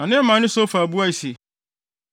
Na Naamani Sofar buae se,